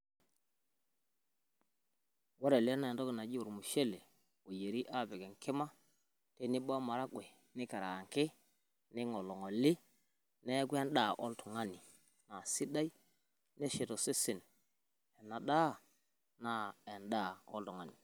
ore ele naa ormushele oyieri tenebo o maragwe nikaarangi ning'oling'oli neeku edaa oltung'ani sidai nashet osesen.